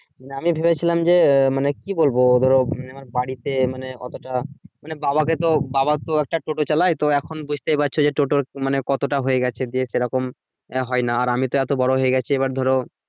আমি ভেবেছিলাম যে আহ মানে কি বলবো ধরো আমার বাড়িতে মানে অতোটা মানে বাবাকে তো বাবা তো একটা টোটো চালায় তো এখন বুজতেই পারছো যে টোটোর মানে কতটা হয়ে গেছে যে সেরকম হয় না আর আমি তো এতো বড় হয়ে গেছি এবার ধরো